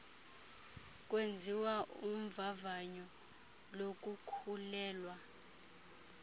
kwenziwa uvavanyo lokukhulelwa